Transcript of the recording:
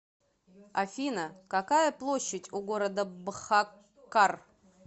афина какая площадь у города бхаккар